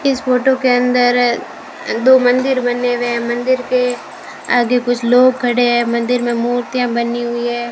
इस फोटो के अंदर दो मंदिर बने हुए है मंदिर के आगे कुछ लोग खडे है मंदिर मे मूर्तियां बनी हुई है।